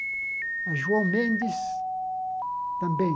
A João Mendes também.